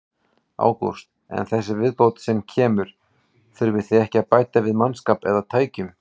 Ágúst: En þessi viðbót sem kemur, þurfið þið að bæta við mannskap eða tækjum?